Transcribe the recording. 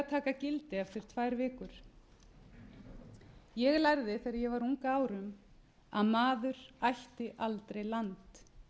gildi eftir tvær vikur ég lærði þegar ég var ung að árum að maður ætti aldrei land